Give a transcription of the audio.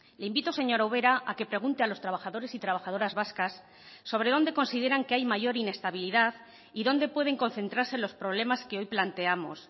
le invito señora ubera a que pregunte a los trabajadores y trabajadoras vascas sobre dónde consideran que hay mayor inestabilidad y dónde pueden concentrarse los problemas que hoy planteamos